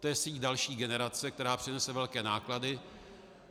To je síť další generace, která přinese velké náklady.